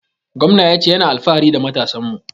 Gwamnan ya ce ya na alfahari da matasan mu